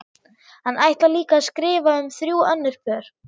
Hann ætlar líka að skrifa um þrjú önnur pör.